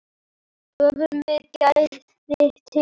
Höfum við gæðin til þess?